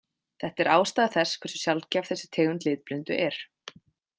Þetta er ástæða þess hversu sjaldgæf þessi tegund litblindu er.